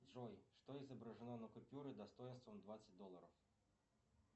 джой что изображено на купюре достоинством двадцать долларов